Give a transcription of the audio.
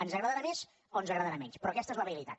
ens agradarà més o ens agradarà menys però aquesta és la realitat